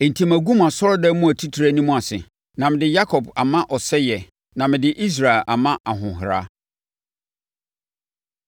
Enti magu mo asɔredan mu atitire anim ase, na mede Yakob ama ɔsɛeɛ, na mede Israel ama ahɔhora.